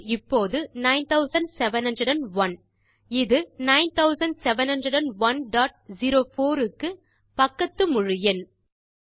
result இப்போது 9701 இது 970104 க்கு பகக்த்து முழு எண்